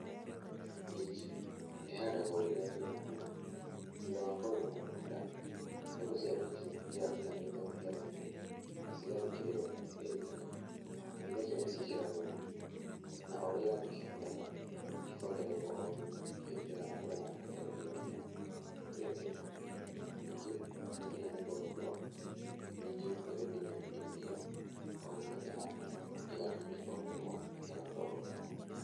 Minji, ĩhandagwo rĩrĩa kũĩna mbura, thutha wa kũrĩma mũgũnda, mbegũ cia minji nĩ cithiaga cihandĩtwo mĩtaro-inĩ na cigathĩkĩrĩrwo, na gatĩri kanini thutha ũcio nĩ cĩĩkĩragwo thumu, na ũrĩa irathi igĩkũraga ikongererwo o thumu ĩgĩthiaga na mbere na kũehererio ria, na kũrĩmĩrwo ningĩ ciakinya nĩ kũgethwo minji nĩ gũtinĩo ĩtinagĩo, o ũguo ĩhana ĩgathĩe ĩkonũrwo na ĩgatwarwo thoko.